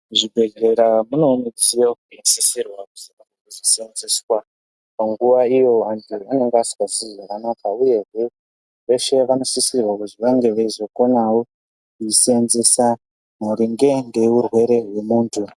Zvibhedhlera zvinewo mudziyo zvinosisirwa kuzi kushandiswa panguva iyo antu anenge asingazwi zvakanaka uye hee veshe vanosisirwa kuti vakone wo kuyishandisa maringe nehurwere hwemuntu.